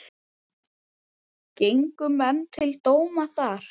Gengu menn til dóma þar.